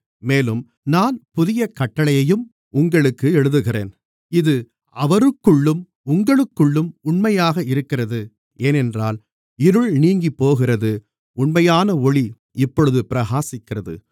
மேலும் நான் புதிய கட்டளையையும் உங்களுக்கு எழுதுகிறேன் இது அவருக்குள்ளும் உங்களுக்குள்ளும் உண்மையாக இருக்கிறது ஏனென்றால் இருள் நீங்கிப்போகிறது உண்மையான ஒளி இப்பொழுது பிரகாசிக்கிறது